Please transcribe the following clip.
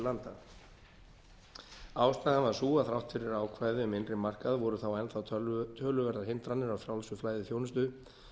landa ástæðan var sú að þrátt fyrir ákvæði um innri markað voru þá enn þá töluverðar hindranir á frjálsu flæði þjónustu